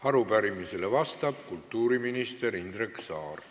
Arupärimisele vastab kultuuriminister Indrek Saar.